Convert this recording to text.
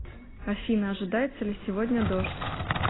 афина ожидается ли сегодня дождь